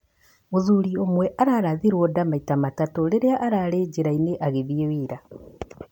Mũthuri ũmwe arathirwo nda maita matatũ rĩrĩa arĩ njĩra-inĩ agĩthiĩ wĩra